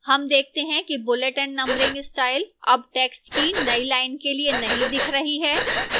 हम देखते हैं कि bullet and numbering style अब text की नई line के लिए नहीं दिख रही है